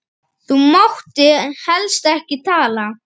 Þá mátti helst ekki tala.